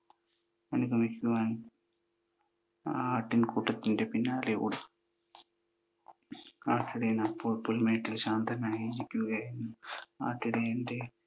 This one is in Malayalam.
അനുഗമിക്കുവാൻ ആ ആട്ടിൻകൂട്ടത്തിൻ്റെ പിന്നാലെ ഓടി. ആട്ടിടയൻ അപ്പോൾ പുൽമേട്ടിൽ ശാന്തനായിരിക്കുകയായിരുന്നു. ആട്ടിടയൻ്റെ